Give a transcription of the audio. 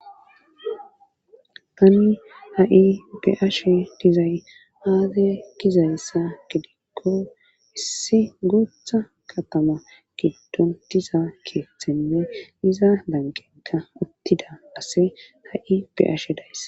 Tani ha'i be ashe dizay haate gizayssa gedikko issi gootha katama giddon diza keethenne iza danqenka uttida ase ha7i beashe dayss.